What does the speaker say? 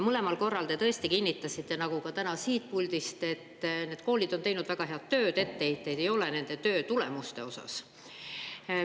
Mõlemal korral te tõesti kinnitasite nagu ka täna siit puldist, et need koolid on teinud väga head tööd, etteheiteid nende töö tulemuste osas ei ole.